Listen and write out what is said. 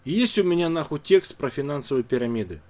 есть у меня нахуй текст про финансовые пирамиды